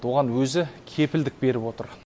оған өзі кепілдік беріп отыр